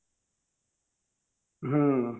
ହୁଁ